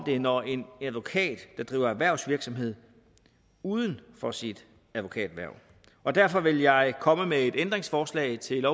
det når en advokat driver erhvervsvirksomhed uden for sit advokathverv derfor vil jeg komme med et ændringsforslag til